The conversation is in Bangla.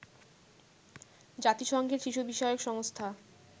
জাতিসংঘের শিশু বিষয়ক সংস্থা